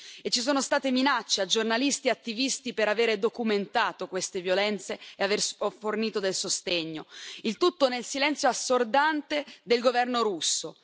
e ci sono state minacce a giornalisti e attivisti per avere documentato queste violenze e aver fornito del sostegno, il tutto nel silenzio assordante del governo russo.